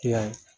Yan